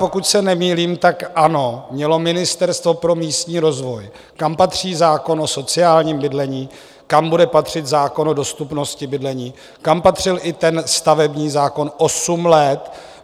Pokud se nemýlím, tak ANO mělo Ministerstvo pro místní rozvoj, kam patří zákon o sociálním bydlení, kam bude patřit zákon o dostupnosti bydlení, kam patřil i ten stavební zákon, osm let.